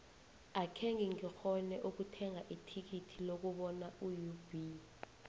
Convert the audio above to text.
akhenge ngikghone ukuthenga ithikithi lokubona iub